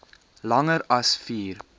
langer as vier